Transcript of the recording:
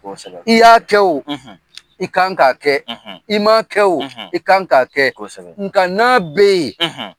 Ko sɛbɛ i y'a kɛ o i kan ka kɛ i ma kɛ o i kan ka kɛ kosɛbɛ nka n' bɛ yen